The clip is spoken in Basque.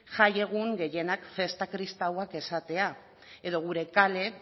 jaiegun gehienak festa kristauak izateak edo gure kale